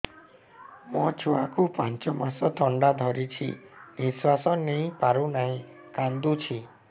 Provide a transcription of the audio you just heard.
ମୋ ଛୁଆକୁ ପାଞ୍ଚ ମାସ ଥଣ୍ଡା ଧରିଛି ନିଶ୍ୱାସ ନେଇ ପାରୁ ନାହିଁ କାଂଦୁଛି